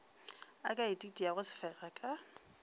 a ka ititiago sefega ka